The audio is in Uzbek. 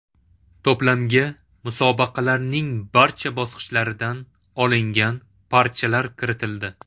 To‘plamga musobaqalarning barcha bosqichlaridan olingan parchalar kiritildi.